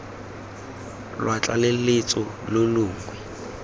lwa tlaleletso lo lo longwe